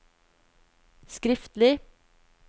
skriftlig